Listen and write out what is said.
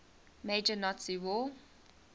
major nazi war